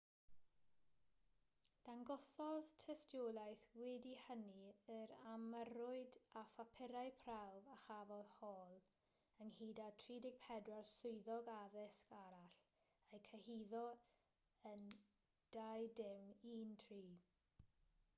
dangosodd tystiolaeth wedi hynny yr ymyrrwyd â phapurau prawf a chafodd hall ynghyd a 34 swyddog addysg arall eu cyhuddo yn 2013